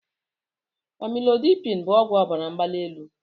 Amụlodipin bụ ọgwụ ọbara mgbali elu.